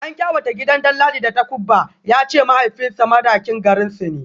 An kawata gidan Danladi da takubba, ya ce mahaifinsa Madakin garinsu ne